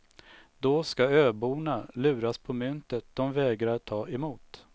Då ska öborna luras på myntet de vägrar ta emot.